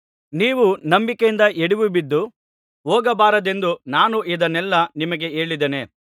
ನೀವು ನಂಬಿಕೆಯಿಂದ ಎಡವಿ ಬಿದ್ದು ಹೋಗಬಾರದೆಂದು ನಾನು ಇದನ್ನೆಲ್ಲಾ ನಿಮಗೆ ಹೇಳಿದ್ದೇನೆ